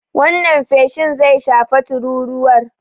Wannan feshin zai shafe tururuwar.